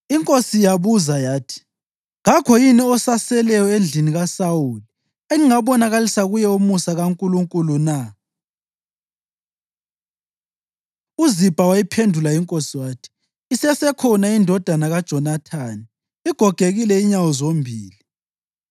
Inkosi yabuza yathi, “Kakho yini osaseleyo endlini kaSawuli engingabonakalisa kuye umusa kaNkulunkulu na?” UZibha wayiphendula inkosi wathi, “Isesekhona indodana kaJonathani; igogekile inyawo zombili.”